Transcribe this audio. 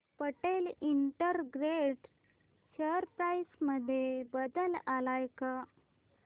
Patel integrate share price मध्ये बदल आलाय का